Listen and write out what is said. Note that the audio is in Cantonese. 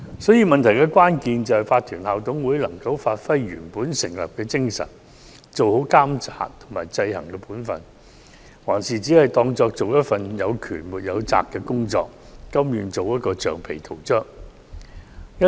所以，關鍵問題是法團校董會能否發揮本來的作用，做好監察及制衡的本分，還是只視作從事有權沒有責的工作，甘願做橡皮圖章。